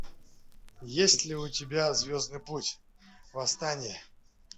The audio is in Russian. есть ли у тебя звездный путь восстание